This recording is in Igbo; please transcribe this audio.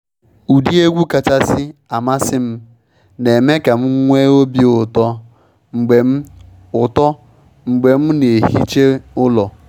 Ụdị egwu kachasị amasị m na eme ka m nwee obi ụtọ mgbe m ụtọ mgbe m na ehicha ụlọ.